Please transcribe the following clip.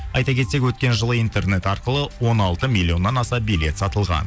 айта кетсек өткен жылы интернет арқылы он алты миллионнан аса билет сатылған